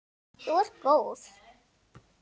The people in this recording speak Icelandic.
Þú ert góð!